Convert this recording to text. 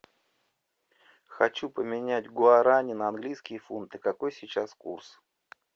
хочу поменять гуарани на английские фунты какой сейчас курс